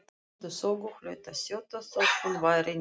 Gleymdi sögu, hlaut að þjóta þótt hún væri nýkomin frá